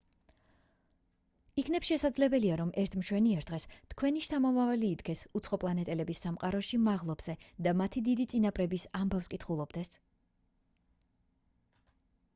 იქნებ შესაძლებელია რომ ერთ მშვენიერ დღეს თქვენი შთამომავალი იდგეს უცხოპლანეტელების სამყაროში მაღლობზე და მათი დიდი წინაპრების ამბავს კითხულობდეს